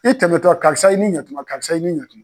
I tɛmɛtɔ karisa i ni ɲakuma karisa i ni ɲakuma.